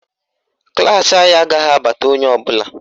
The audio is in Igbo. Klaasị anyị agaghị abata onye ọbụla